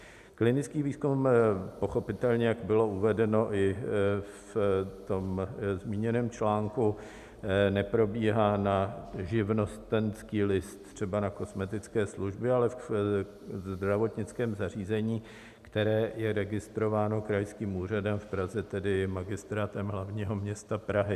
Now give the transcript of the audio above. Klinický výzkum pochopitelně, jak bylo uvedeno i v tom zmíněném článku, neprobíhá na živnostenský list, třeba na kosmetické služby, ale ve zdravotnickém zařízení, které je registrováno krajským úřadem, v Praze tedy Magistrátem hlavního města Prahy.